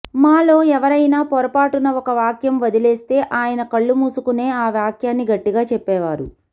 మాలో ఎవరేనా పొరపాటున ఒక వాక్యం వదిలేస్తే ఆయన కళ్ళు మూసుకునే ఆ వాక్యాన్ని గట్టిగా చెప్పేవారు